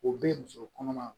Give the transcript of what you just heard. O be muso kɔnɔma